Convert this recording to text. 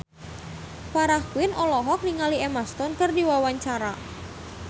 Farah Quinn olohok ningali Emma Stone keur diwawancara